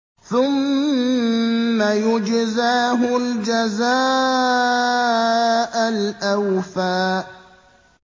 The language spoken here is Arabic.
ثُمَّ يُجْزَاهُ الْجَزَاءَ الْأَوْفَىٰ